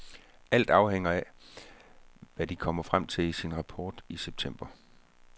Alt afhænger af, hvad de kommer frem til i sin rapport i september.